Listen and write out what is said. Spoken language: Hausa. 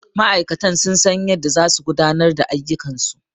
Ma'aikatan sun san yadda za su gudanar da ayyukan su